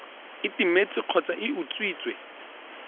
e timetse kgotsa e utswitswe